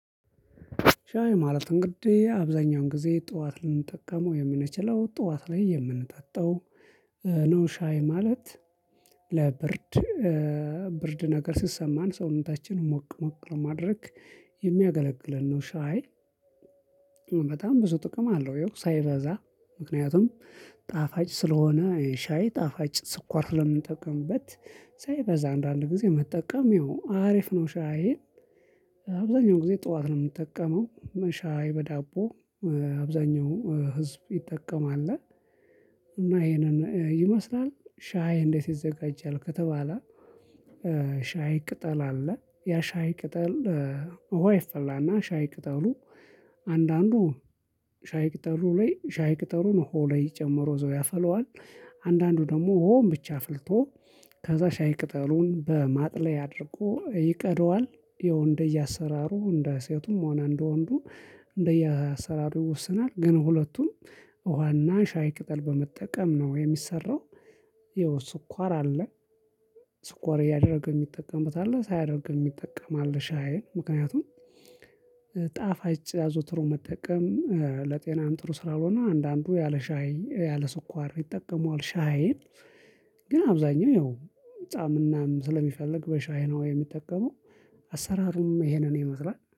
ሻይ ማለት እንግዲህ አብዛኛውን ጊዜ ጠዋት ልንጠቀመው የምንችለው ጠዋት ላይ የምንጠጣው ነው። ሻይ ማለት ለብርድ ብርድ ነገር ሲሰማን ሰውነታችን ሞቅ ሞቅ ለማድረግ የሚያገለግለን ነው። ሻይ በጣም ብዙ ጥቅም አለው። ይኸው ሳይበዛ ምክንያቱም ጣፋጭ ስለሆነ ሻይ ጣፋጭ ስኳር ስለምንጠቅምበት ሳይበዛ አንዳንድ ጊዜ መጠቀም ይሁን አሪፍ ነው። ሻይን አብዛኛው ጊዜ ጠዋት ነው የምንጠቀመው ሻይ በዳቦ አብዛኛው ህዝብ ይጠቀማል። እና ይሄንን ይመስላል ሻይ እንዴት ይዘጋጃል ከተባለ። ሻይ ቅጠል አለ ያ ሻይ ቅጠል ውሃ ይፈላና ሻይ ቅጠሉ አንዳንዱ ሻይ ቅጠሉ ላይ ሻይ ቅጠሉን ውሃው ላይ ጨምሮ እዛው ያፈላዋል። አንዳንዱ ደግሞ ውሃውን ብቻ አፍልቶ ከዛ ሻይ ቅጠሉን በማጥለያ አድርጎ ይቀዳዋል። ያው እንደየ አሰራሩ እንደ ሴቱም ሆና እንደ ወንዱ እንደየ አሰራሩ ይወስናል። ግን ሁለቱም ውሃና ሻይ ቅጠል በመጠቀም ነው የሚሰራው። ይኸው ስኳር አለ። ስኳር እያደረገ የሚጠቀምበት አለ ሳያደርግ የሚጠቀም አለሽ። ሻይን ምክንያቱም ጣፋጭ አዘውትሮ መጠቀም ለጤናም ጥሩ ስላልሆነ አንዳንዱ ያለ ሻይ ያለ ስኳር ይጠቀመዋል ሻይን። ግን አብዛኛው ያው ጻምናም ስለሚፈልግ በሻይ ነው የሚጠቀመው። አሰራሩም ይሄንን ይመስላል